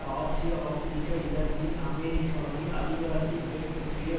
Asia Africa இலத்தீன் அமெரிக்காவில் அதிகாரத்தை கைப்பற்றிய